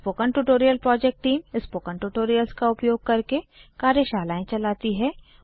spoken tutorial project team spoken tutorials का उपयोग करके कार्यशालाएं चलाती है